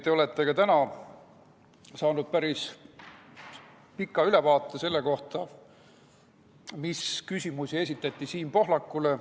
Te olete täna saanud neist päris pika ülevaate selle põhjal, mis küsimusi esitati Siim Pohlakule.